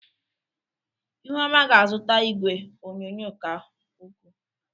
ihuoma ga-azụta igwe onyonyo ka ukwuu.